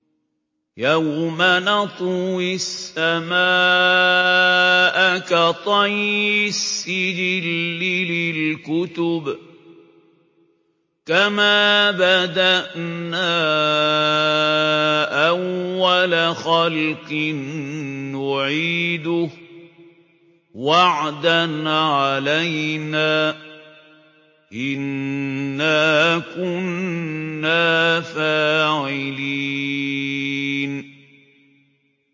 يَوْمَ نَطْوِي السَّمَاءَ كَطَيِّ السِّجِلِّ لِلْكُتُبِ ۚ كَمَا بَدَأْنَا أَوَّلَ خَلْقٍ نُّعِيدُهُ ۚ وَعْدًا عَلَيْنَا ۚ إِنَّا كُنَّا فَاعِلِينَ